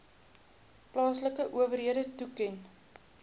plaaslike owerhede toeken